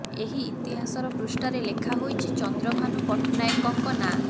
ଏହି ଇତିହାସର ପୃଷ୍ଠାରେ ଲେଖା ହୋଇଛି ଚନ୍ଦ୍ରଭାନୁ ପଟ୍ଟନାୟକଙ୍କ ନାଁ